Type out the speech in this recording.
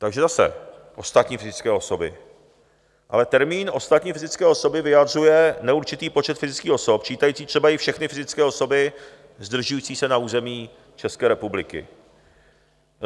Takže zase ostatní fyzické osoby, ale termín ostatní fyzické osoby vyjadřuje neurčitý počet fyzických osob, čítající třeba i všechny fyzické osoby zdržující se na území České republiky.